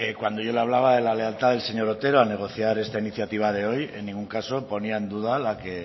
cuando yo le hablaba de lealtad del señor otero a negociar esta iniciativa de hoy en ningún caso ponía en duda